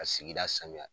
Ka sigida sanuya